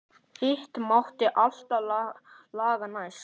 Hitt mátti alltaf laga næst.